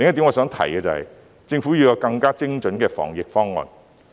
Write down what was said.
我想提的另一點是，政府要有更精準的防疫方案。